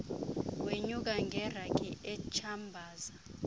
wenyuka ngerhangi etshambaza